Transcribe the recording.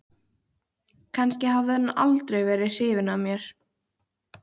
Kannski hafði hann aldrei verið hrifinn af mér.